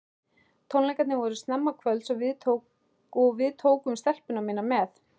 Tónleikarnir voru snemma kvölds og við tókum stelpuna mína með.